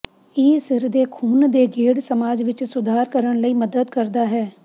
ਇਹ ਸਿਰ ਦੇ ਖੂਨ ਦੇ ਗੇੜ ਮਸਾਜ ਵਿੱਚ ਸੁਧਾਰ ਕਰਨ ਲਈ ਮਦਦ ਕਰਦਾ ਹੈ